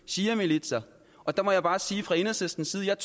shiamilitser og der må jeg bare sige fra enhedslistens side